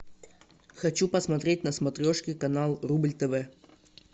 хочу посмотреть на смотрешке канал рубль тв